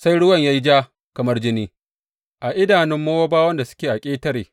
Sai ruwan ya yi ja kamar jini a idanun Mowabawan da suke a ƙetare.